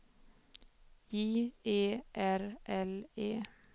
J E R L E